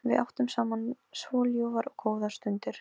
Við áttum saman svo ljúfar og góðar stundir.